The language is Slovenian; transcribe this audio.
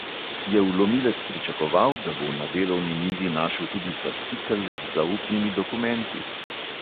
Je vlomilec pričakoval, da bo na delovni mizi našel tudi fascikel z zaupnimi dokumenti?